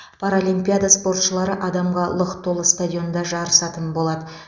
паралимпиада спортшылары адамға лық толы стадионда жарысатын болады